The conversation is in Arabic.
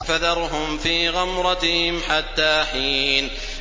فَذَرْهُمْ فِي غَمْرَتِهِمْ حَتَّىٰ حِينٍ